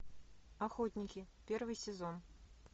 охотники первый сезон